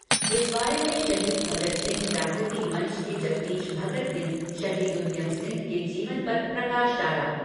इस बारे में शहीद भगत सिंह जागृति मंच के जगदीश भगत ने शहीद उद्यम सिंह के जीवन पर प्रकाश डाला।